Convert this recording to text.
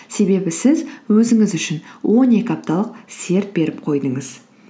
себебі сіз өзіңіз үшін он екі апталық серт беріп қойдыңыз